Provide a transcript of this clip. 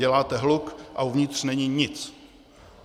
Děláte hluk a uvnitř není nic.